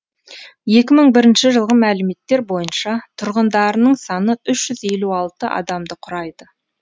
екі мың бірінші жылғы мәліметтер бойынша тұрғындарының саны үш жүз елу алты адамды құрайды